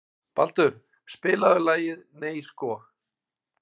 Baldur, spilaðu lagið „Nei sko“.